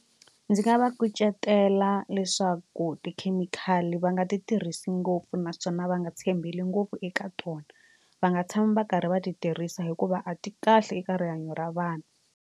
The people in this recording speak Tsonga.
Ndzi nga va kucetela leswaku tikhemikhali va nga ti tirhisi ngopfu naswona va nga tshembeli ngopfu eka tona va nga tshami va karhi va ti tirhisa hikuva a ti kahle eka rihanyo ra vanhu.